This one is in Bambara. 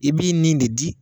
I b'i ni de di.